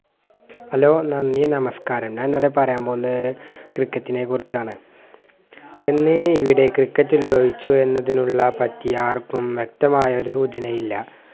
hello നന്ദി നമസ്ക്കാരം ഞാൻ ഇന്നിവിടെ പറയാൻ പോവുന്നത് ക്രിക്കറ്റിനെ കുറിച്ചാണ് എന്നീ ഇവിടെ ക്രിക്കറ്റ് ഉൽഭവിച്ചു എന്നതിനുള്ള പറ്റി ആർക്കും വ്യക്തമായൊരു സൂചന ഇല്ല